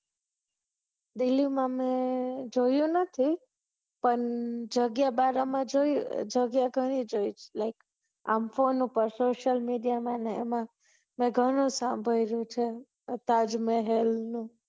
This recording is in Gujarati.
delhi માં અમે જોયું નથી પણ જગ્યા બારા માં જોયું જગ્યા ઘણી જોઈ છ એટલે આમ ફોન ઉપર social media મા ને એમા ઘણું સાંભળયુ છે તાજ મહલ નું